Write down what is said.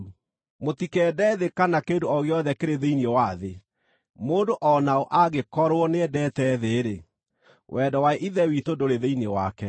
Mũtikende thĩ kana kĩndũ o gĩothe kĩrĩ thĩinĩ wa thĩ. Mũndũ o na ũ angĩkorwo nĩendete thĩ-rĩ, wendo wa Ithe witũ ndũrĩ thĩinĩ wake.